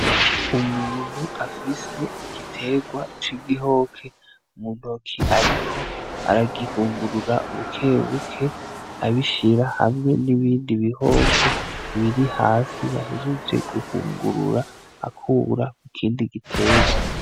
Umuntu afise igiterwa c'igihoke mu ntoki ariko aragihungurura bukebuke abishira hamwe n'ibindi bihoke biri hasi, yahejeje guhungurura akura ikindi giterwa.